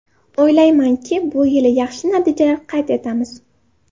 O‘ylaymanki, bu yil yaxshi natijalar qayd etamiz.